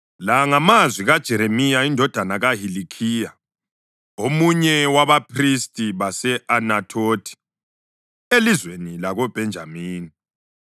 La ngamazwi kaJeremiya indodana kaHilikhiya, omunye wabaphristi base-Anathothi elizweni lakoBhenjamini.